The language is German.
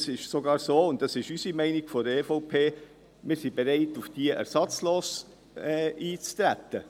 Es ist sogar so – und das ist die Meinung der EVP –, dass wir bereit sind, ersatzlos darauf einzutreten.